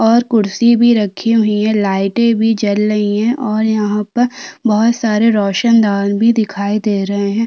और कुर्सी भी रखी हुयी है लाइटें भी जल रही है और यहाँ पर बोहोत सारे रोशनदान भी दिखाई दे रहै हैं।